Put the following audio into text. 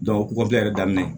yɛrɛ daminɛ